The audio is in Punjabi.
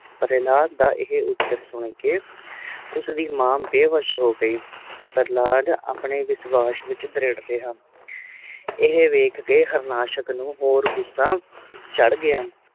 ਹਲਾਦ ਦਾ ਇਹ ਉੱਤਰ ਸੁਨ ਕ ਉਸ ਦੀ ਮਾਂ ਬੇਹੋਸ਼ ਹੋ ਗਯੀ ਪ੍ਰਹਲਾਦ ਆਪਣੇ ਵਿਸ਼ਵਾਸ਼ ਵਿਚ ਦ੍ਰਿੜ ਰਿਹਾ ਇਹ ਵੇਖ ਕ ਹਾਰਨਾਸ਼ਕ ਨੂੰ ਹੋਰ ਗੁੱਸਾ ਚੜ ਗਯਾ